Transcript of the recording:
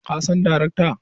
Ka san darakan?